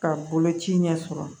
Ka boloci ɲɛ sɔrɔ